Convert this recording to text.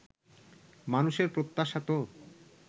মানুষের প্রত্যাশা তো